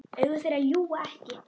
Augu þeirra ljúga ekki.